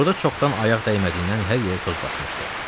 Burda çoxdan ayaq dəymədiyindən hər yeri toz basmışdı.